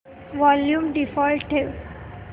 volume default ठेव